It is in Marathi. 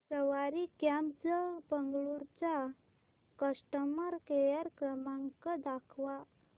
सवारी कॅब्झ बंगळुरू चा कस्टमर केअर क्रमांक दाखवा